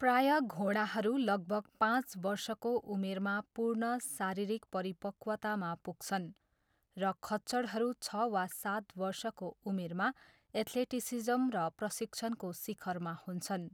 प्रायः घोडाहरू लगभग पाँच वर्षको उमेरमा पूर्ण शारीरिक परिपक्वतामा पुग्छन्, र खच्चडहरू छ वा सात वर्षको उमेरमा एथलेटिसिज्म र प्रशिक्षणको शिखरमा हुन्छन्।